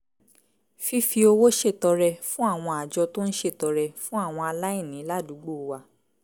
fífi owó ṣètọrẹ fún àwọn àjọ tó ń ṣètọrẹ fún àwọn aláìní ládùúgbò wa